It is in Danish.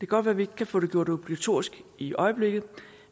godt være vi ikke kan få det gjort obligatorisk i øjeblikket